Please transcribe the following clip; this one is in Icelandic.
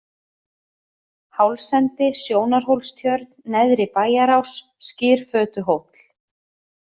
Hálsendi, Sjónarhólstjörn, Neðri-Bæjarás, Skyrfötuhóll